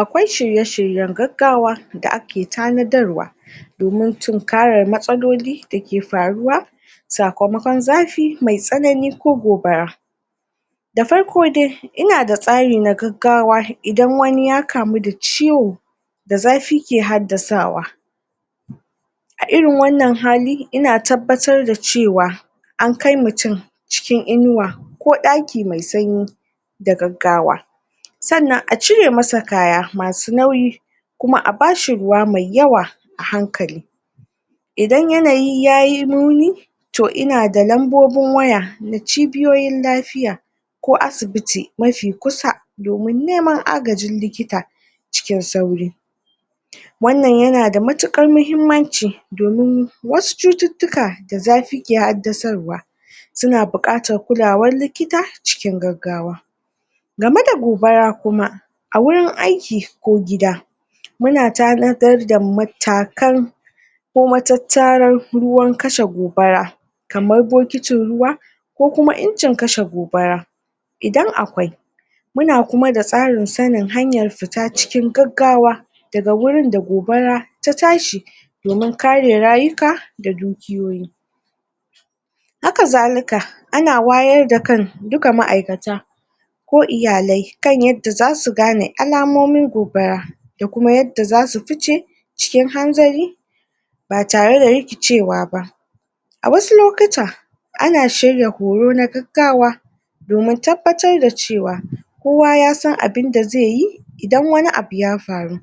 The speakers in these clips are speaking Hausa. Akwai shirye-shiryen gaggawa da ake tanadarwa domin tunkara matsaloli da ke faruwa sakamakon zafi mai tsanani ko gobara da farko dai, ina da tsari da gagawa inda wani ya kamu da ciwo da zafi ke hadasawa. A irin wannan hali ina tabbatar da cewa a kai mutum cikin inuwa ko daki mai tsanyi da gaggawa tsannan a cire matsa kaya masu nauyi kuma a bashi ruwa mai yawa ahankali idan yanayi yayi nuni to ina da nambobin waya na cibiyoyin lafiya ko asibiti mafi kusa domin neman agajin likita cikin sauri. Wannan ya na da matukar mahimmanci domin wasu cututuka da zafi ke hadasarwa suna bukatar kulawar likita acikin gaggawa game da gubara kuma a wurin aiki ko gida mu na tanadar da mutakan ko ma tatarar ruwan kashe gobara kamar bokitin ruwa ko uma injin kashe gobara idan akwai mu na kuma da tsarin sanin hanyar fita cikin gaggawa da ga wurin da gobara ta tashi domin kare rayuka da dukuyoyi ha ka zalika a na wayar da kan dukka maaikata ko iyalai kan yadda za su gane alamomin gobara da kuma yadda za su fice, cikin hanzari ba tare da rikicewa ba. A wasu lokuta, ana shirya horo na gaggawa domin tabbatar da cewa kowa ya san abinda ze yi idan wani abu ya faru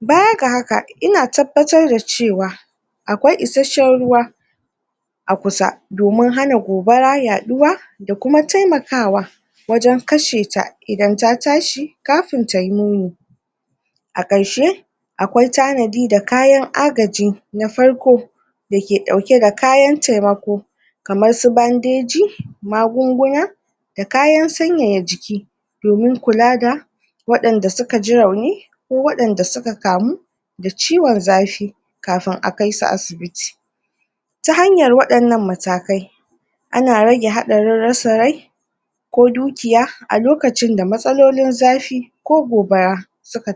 baya ga haka, ina tabbatar da cewa akwai iseshen ruwa a kusa domin hana gobara yaɗuwa da kuma taimakawa wajen kashe ta idan ta tashi kafun ta yi A karshe aakwai tanadi da kayan agaji na farko da ke dauke da kayan taimako kamar su bandeji, magunguna da kanyan tsanyaya jiki domin kula da wadanda su ka ji rauni ko wadanda su ka kamu da ciwon zafi kafun a kaisu asibiti ta hanyar wadanan matakai a na rage hada rara sarai ko dukiya, a lokacin da matsalolin zafi ko gobara su ka